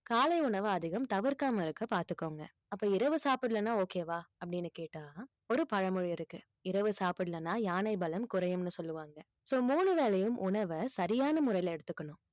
காலை உணவை அதிகம் தவிர்க்காமல் இருக்க பார்த்துக்கோங்க அப்ப இரவு சாப்பிடலன்னா okay வா அப்படின்னு கேட்டா ஒரு பழமொழி இருக்கு இரவு சாப்பிடலன்னா யானை பலம் குறையும்னு சொல்லுவாங்க so மூணு வேளையும் உணவை சரியான முறையில எடுத்துக்கணும்